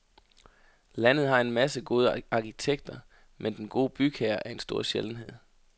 Landet har en masse gode arkitekter, men den gode bygherre er en stor sjældenhed.